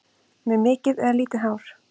Með mikið eða lítið hár?